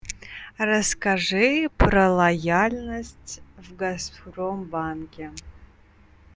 расскажи про лояльность в газпромбанке